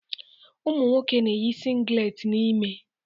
Ụmụ nwoke na-eyi singlet n'ime.